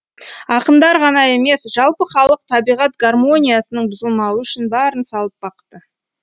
ақындар ғана емес жалпы халық табиғат гармониясының бұзылмауы үшін барын салып бақты